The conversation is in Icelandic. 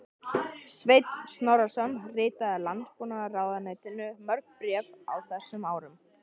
Sveinn Snorrason ritaði Landbúnaðarráðuneytinu mörg bréf á þessum árum.